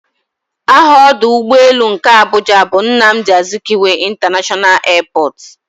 Aha ọdụ ụgbọelu nke Abuja bu "Nnamdi Azikiwe International airport"